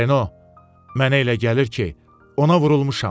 Renault, mənə elə gəlir ki, ona vurulmuşam.